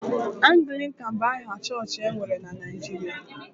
Anglịkan bụ aha chọọchị e nwere na Naịjirịa